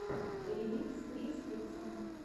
ремикс криз фикса